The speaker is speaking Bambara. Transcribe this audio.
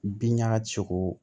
Bin ɲaga cogo